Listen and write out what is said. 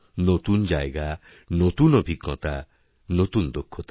নতুন জায়গা নতুন অভিজ্ঞতা নতুন দক্ষতা